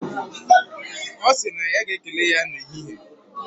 Osiri na ya ga ekele ya na ehihe